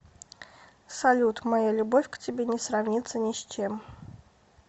салют моя любовь к тебе не сравнится ни с чем